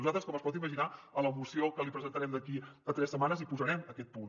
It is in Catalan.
nosaltres com es pot imaginar a la moció que li presentarem d’aquí a tres setmanes hi posarem aquest punt